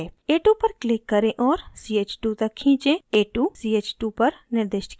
a2 पर click करें और ch2 तक खींचें a2 ch2 पर निर्दिष्ट किया गया है